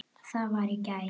það var í gær.